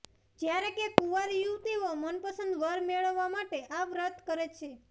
જ્યારે કે કુંવારી યુવતીઓ મનપસંદ વર મેળવવા માટે આ વ્રત કરે છે